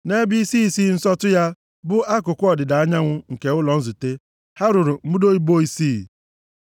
Nʼebe isi isi nsọtụ ya bụ akụkụ ọdịda anyanwụ nke ụlọ nzute, ha rụrụ mbudo ibo isii.